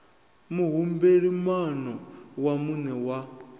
muhumbeli moano wa muṋe wa